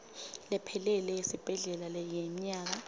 lephelele yesibhedlela yemnyaka